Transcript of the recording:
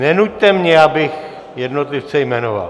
Nenuťte mě, abych jednotlivce jmenoval.